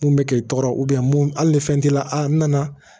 Mun bɛ k'i tɔɔrɔ mun hali ni fɛn t'i la n nana